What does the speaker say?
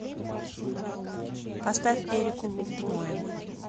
поставь эрику лундмоен